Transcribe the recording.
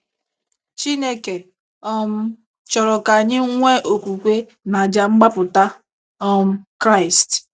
Chineke um chọrọ ka anyị nwee okwukwe n’àjà mgbapụta um Kraịst.